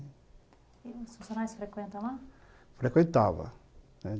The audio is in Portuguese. E os funcionários frequentam lá? Frequentavam, né.